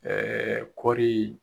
Ɛɛɛ kɔri